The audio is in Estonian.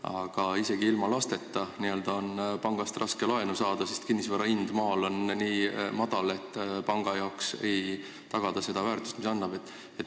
Aga isegi ilma lasteta on pangast raske laenu saada, sest kinnisvara hind maal on nii madal: panga jaoks ei ole seal kinnisvara tagatud sellise väärtusega, et laenu anda.